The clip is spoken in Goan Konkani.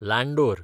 लांंडोर